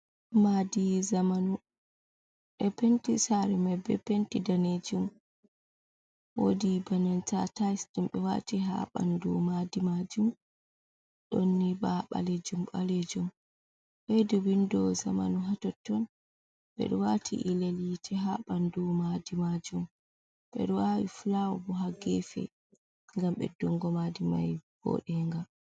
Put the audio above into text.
madi zamanu e penti sare mai be penti danejum, wodi banen tatise dumbe wati ha bandu madi majum donni ba balejum balejum hedu bindo zamanu hatotton bedo wati ilelyite ha bandu madi majum bedo wawi flawbo ha gefe gam beddungo madi mai bodenga.